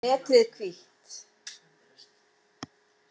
Letrið hvítt.